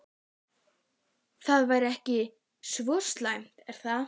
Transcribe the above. Það væri ekki svo slæmt er það?